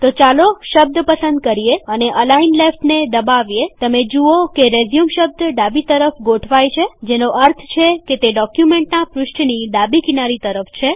તો ચાલો શબ્દ પસંદ કરીએ અને અલાઈન લેફ્ટને દબાવીએતમે જુઓ કે રેઝ્યુમ શબ્દ ડાબી તરફ ગોઠવાયેલ છે જેનો અર્થ છે તે ડોક્યુમેન્ટનાં પૃષ્ઠની ડાબી કિનારી તરફ છે